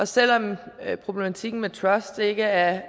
selv om problematikken med truster ikke er